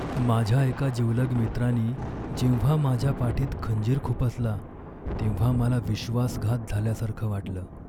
माझ्या एका जिवलग मित्रानी जेव्हा माझ्या पाठीत खंजीर खुपसला तेव्हा मला विश्वासघात झाल्यासारखं वाटलं.